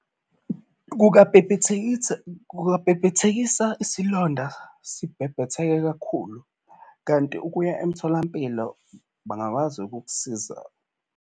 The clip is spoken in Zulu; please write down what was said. Kungabhebhethekisa isilonda sibhebhetheke kakhulu, kanti ukuya emtholampilo bangakwazi ukukusiza.